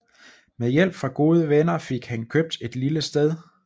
Med hjælp fra gode venner fik han købt et lille sted